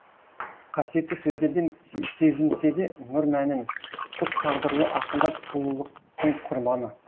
қасиетті сөздерден сезінсе де нұр мәнін құс тағдырлы ақындар сұлулықтың құрбаны